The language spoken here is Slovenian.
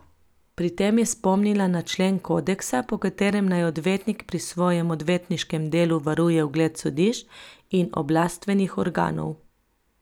Pri tem je spomnila na člen kodeksa, po katerem naj odvetnik pri svojem odvetniškem delu varuje ugled sodišč in oblastvenih organov.